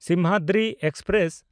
Simhadri express